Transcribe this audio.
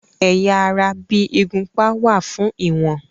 Ẹ̀yà ara bí ìgúnpá wà fún ìwọ̀n.